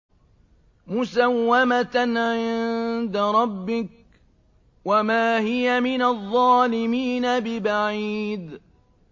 مُّسَوَّمَةً عِندَ رَبِّكَ ۖ وَمَا هِيَ مِنَ الظَّالِمِينَ بِبَعِيدٍ